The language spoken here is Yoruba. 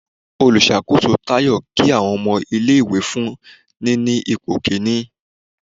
Òlusakoso tayọ ki awọn ọmọ ìlé-ìwé fún níní ipo kinní